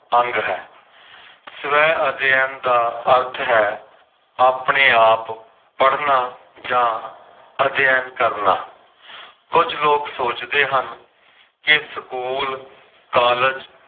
ਅੰਗ ਹੈ। ਸਵੈ ਅਧਿਐਨ ਦਾ ਅਰਥ ਹੈ, ਆਪਣੇ-ਆਪ ਪੜਨਾ ਜਾਂ ਅਧਿਐਨ ਕਰਨਾ। ਕੁਝ ਲੋਗ ਸੋਚਦੇ ਹਨ ਕੇ ਸਕੂਲ, ਕਾਲਜ